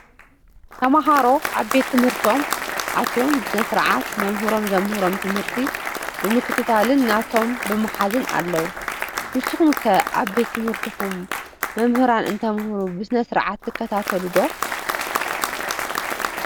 ተምሃሮ ኣብ ቤት ትምህርቶም ኣትዮም ብስነ-ስርዓት መምህሮም ዘምህሮም ትምህርቲ ብምክትታልን ኖቶም ብምሓዝን ኣለው። ብስኹም ኸ ኣብ ቤት ትምህርትኹም መምህራን እንተምህሩ ብስነ ስርዓት ትከታተሉ ዶ?